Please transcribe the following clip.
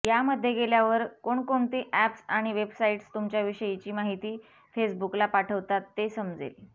यामध्ये गेल्यावर कोणकोणती अॅप्स आणि वेबसाईट्स तुमच्याविषयीची माहिती फेसबुकला पाठवतात ते समजेल